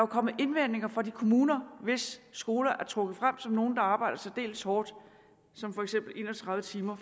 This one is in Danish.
kommet indvendinger fra de kommuner hvis skoler er trukket frem som nogle hvor man arbejder særdeles hårdt som for eksempel en og tredive timer